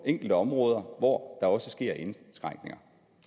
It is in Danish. enkelte områder hvor der også sker indskrænkninger